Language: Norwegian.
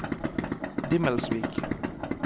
Dimmelsvik